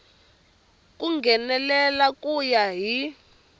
ku nghenelela ku ya hi